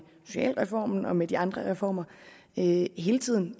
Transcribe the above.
socialformen og med de andre reformer hele tiden